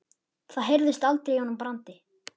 Það heyrðist aldrei í honum Brandi.